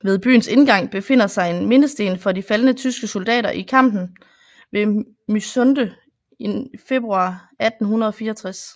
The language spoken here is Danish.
Ved byens indgang befinder sig en mindesten for de faldne tyske soldater i kampen ved Mysunde i februar 1864